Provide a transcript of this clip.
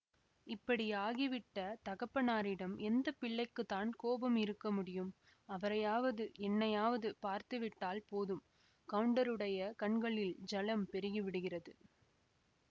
இப்படியாகி விட்ட தகப்பனாரிடம் எந்த பிள்ளைக்குத்தான் கோபம் இருக்க முடியும் அவரையாவது என்னையாவது பார்த்துவிட்டால் போதும் கவுண்டருடையை கண்களில் ஜலம் பெருகிவிடுகிறது